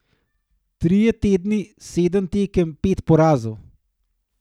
Trije tedni, sedem tekem, pet porazov.